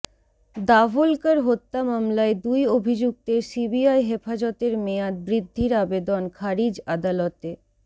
দাভোলকর হত্যা মামলায় দুই অভিযুক্তের সিবিআই হেফাজতের মেয়াদ বৃদ্ধির আবেদন খারিজ আদালতে